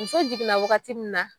muso jiginna wagati min na